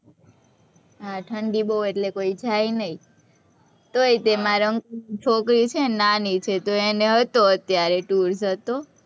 હા, ઠંડી બોવ હોય એટલે કોઈ જાય નહીં, તોય તે મારા uncle ની છોકરી છે ને નાની છે, તો એને હતો અત્યારે tour હતો.